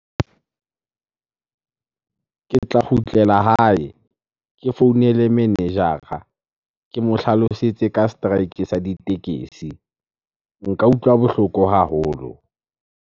Ke tla kgutlela hae ke founele manager-a. Ke mo hlalosetse ka strike sa ditekesi. Nka utlwa bohloko haholo.